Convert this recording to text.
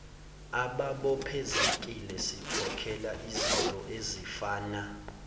ababophezekile sikhokhela izintoezifana